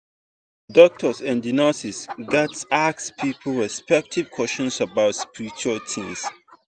doctors and nurses gatz ask people respectful question about spiritual tins.